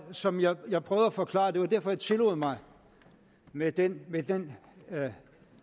som jeg jeg prøvede at forklare og det var derfor jeg tillod mig med den med den